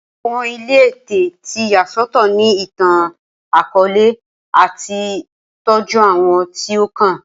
Awọn ile Ẹtẹ ti ya sọtọ ni itan-akọọlẹ ati tọju awọn ti o kan